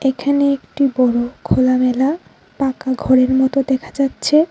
এখানে একটি বড় খোলামেলা পাকা ঘরের মতো দেখা যাচ্ছে।